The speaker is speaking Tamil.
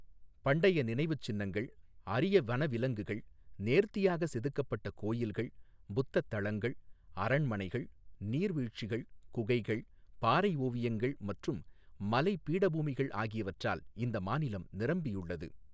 பண்டைய நினைவுச்சின்னங்கள், அரிய வனவிலங்குகள், நேர்த்தியாக செதுக்கப்பட்ட கோயில்கள், புத்த தளங்கள், அரண்மனைகள், நீர்வீழ்ச்சிகள், குகைகள், பாறை ஓவியங்கள் மற்றும் மலை பீடபூமிகள் ஆகியவற்றால் இந்த மாநிலம் நிரம்பியுள்ளது.